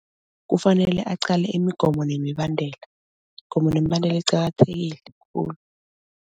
Kufanele aqale imigomo nemibandela. Imigomo nemibandela iqakathekile khulu.